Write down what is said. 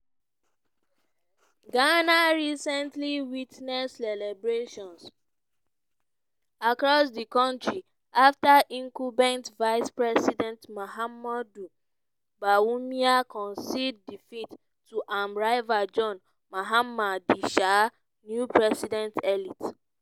ghana recently witness celebrations across di kontri afta incumbent vice-president mahamudu bawumia concede defeat to im rival john mahama di um new president-elect.